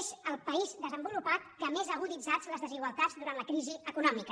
és el país des· envolupat que més ha aguditzat les desigualtats durant la crisi econòmica